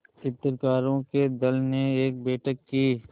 चित्रकारों के दल ने एक बैठक की